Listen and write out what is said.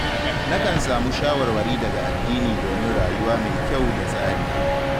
Na kan samu shawarwari daga addini domin rayuwa mai kyau da tsari